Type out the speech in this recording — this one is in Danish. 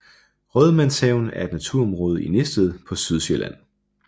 Rådmandshaven er et naturområde i Næstved på Sydsjælland